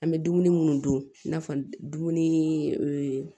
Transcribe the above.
An bɛ dumuni minnu dun i n'a fɔ dumuni ni